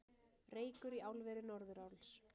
Reykur í álveri Norðuráls